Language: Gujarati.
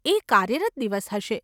એ કાર્યરત દિવસ હશે.